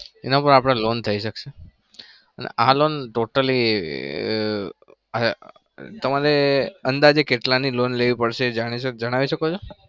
એનાં ઉપર આપડે loan થઇ શકશે અને આ loan totally તમારે અંદાજે કેટલાની loan લેવી પડશે એ જણાય જણાઈ શકો છો?